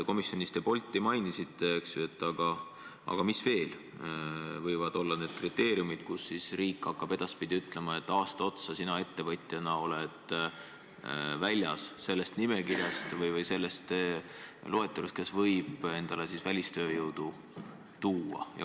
Komisjonis te mainisite Bolti, aga mis veel võivad olla need kriteeriumid, mille alusel riik hakkab edaspidi ütlema, et üheks aastaks oled sina ettevõtjana sellest nimekirjast või sellest loetelust väljas, kes võib endale välistööjõudu tuua.